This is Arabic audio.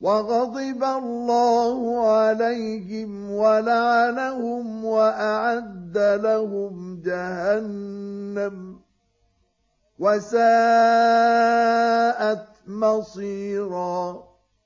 وَغَضِبَ اللَّهُ عَلَيْهِمْ وَلَعَنَهُمْ وَأَعَدَّ لَهُمْ جَهَنَّمَ ۖ وَسَاءَتْ مَصِيرًا